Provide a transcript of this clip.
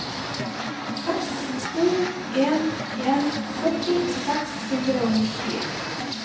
seks to en en sytti seks hundre og nittien